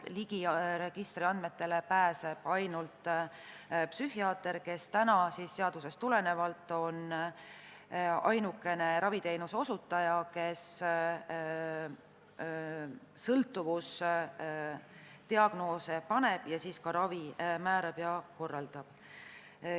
Registri andmetele pääseb ligi ainult psühhiaater, kes seadusest tulenevalt on ainukene raviteenuse osutaja, kes sõltuvusdiagnoose paneb ning ravi määrab ja seda korraldab.